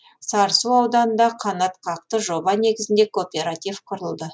сарысу ауданында қанатқақты жоба негізінде кооператив құрылды